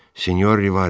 Sinyor Rivares.